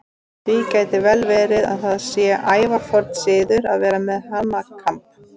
Því gæti vel verið að það sé ævaforn siður að vera með hanakamb.